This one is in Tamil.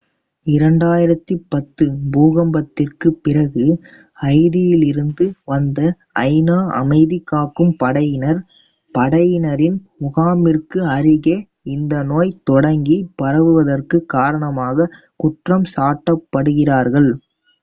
2010 பூகம்பத்திற்குப் பிறகு ஹைதியிலிருந்து வந்த ஐ நா அமைதி காக்கும் படையினர் படையினரின் முகாமிற்கு அருகே இந்த நோய் தொடங்கி பரவுவதற்கு காரணமாக குற்றம் சாட்டப்படுகிறார்கள்